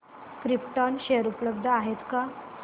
krypton share उपलब्ध आहेत का